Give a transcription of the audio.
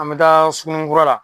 An bɛ taa Suguninkura la.